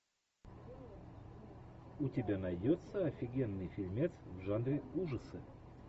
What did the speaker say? у тебя найдется офигенный фильмец в жанре ужасы